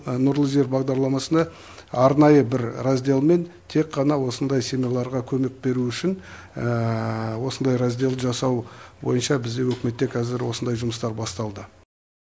нұрлы жер бағдарламасында арнайы бір раздельмен тек қана осындай семьяларға көмек беру үшін осындай раздел жасау бойынша біздің үкімете осындай жұмыстар басталды